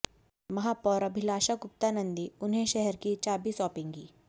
महापौर अभिलाषा गुप्ता नंदी उन्हें शहर की चाबी सौंपेगी